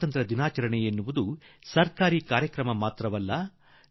ಸ್ವಾತಂತ್ರ್ಯದ ಹಬ್ಬ ಸರ್ಕಾರದ ಕಾರ್ಯಕ್ರಮವಲ್ಲ